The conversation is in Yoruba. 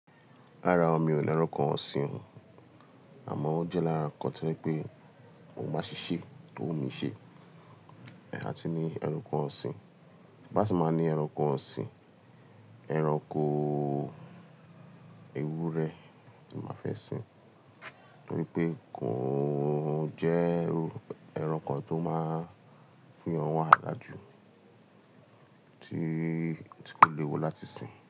Rárá o, mi ò ní ẹranko ọ̀sìn o, àmọ́ ó jẹ́ lára nǹkan to jẹ pé mo máa ṣì ṣe tó wù mí ṣe. A ti ní ẹranko ọ̀sìn, bí a ti máa ní ẹranko ọ̀sìn, ẹranko ewúrẹ́ ni màá fẹ́ sin. Torí pé kò o jẹ́ ẹrankan to máa fún èèyàn wàhálà jù tí kò lè wu láti sìn.